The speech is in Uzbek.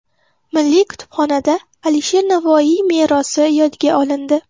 Milliy kutubxonada Alisher Navoiy merosi yodga olindi.